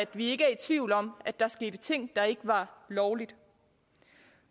vi ikke er i tvivl om at der skete ting der ikke var lovlige